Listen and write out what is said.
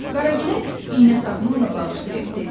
Qaragilə iynə sapını ona bağışlayıb dedi: